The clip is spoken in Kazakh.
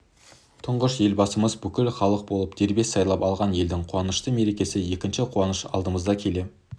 тұңғыш елбасымызды бүкіл халық болып дербес сайлап алған елдің қуанышты мерекесі екінші қуаныш алдымызда келе